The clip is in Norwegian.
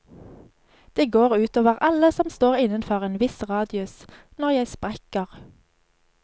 Det går utover alle som står innenfor en viss radius, når jeg sprekker.